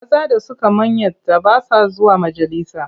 Maza da suka manyanta ba sa zuwa majalisa.